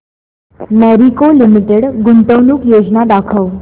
Marico limited गुंतवणूक योजना दाखव